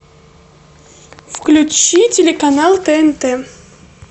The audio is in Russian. включи телеканал тнт